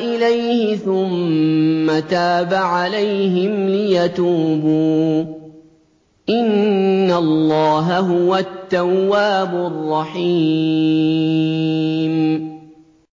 إِلَيْهِ ثُمَّ تَابَ عَلَيْهِمْ لِيَتُوبُوا ۚ إِنَّ اللَّهَ هُوَ التَّوَّابُ الرَّحِيمُ